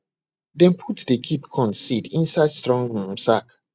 dem put dey keep corn seed inside strong um sack